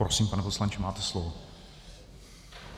Prosím, pane poslanče, máte slovo.